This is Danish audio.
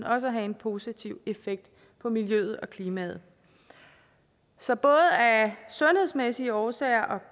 også at have en positiv effekt på miljøet og klimaet så både af sundhedsmæssige årsager